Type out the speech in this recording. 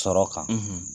Sɔrɔ kan